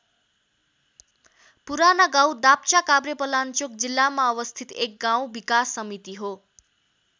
पुरानागाउँ दाप्चा काभ्रेपलाञ्चोक जिल्लामा अवस्थित एक गाउँ विकास समिति हो।